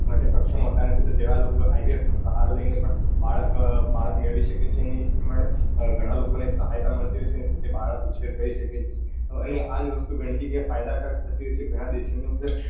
ક્ષક્ષમ હોતા નથી તેવા લોકો IVF નો સહારો લઈને પણ બાળક મેળવી શકે છે અને એજ પ્રમાણે ગણા લોકો ને સહાયતા મળતી હોય છે અને પોતે બાળક ઉચ્છેર કરી શકે છે અને આજ વસ્તુ ફાયદાકારક થતી હોય છે ગણા દેશો ની અંદર